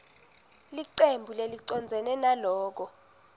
licembu lelicondzene naloko